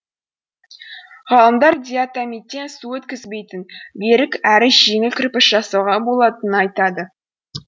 ғалымдар диатомиттен су өткізбейтін берік әрі жеңіл кірпіш жасауға болатынын айтады